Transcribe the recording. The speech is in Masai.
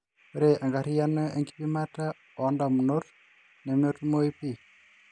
ore enkariano ekipimata oondamunot nemetumoi pii